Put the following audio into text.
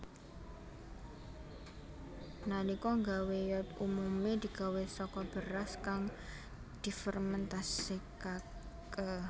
Nalika gawé yeot umume digawé saka beras kang difermentasekake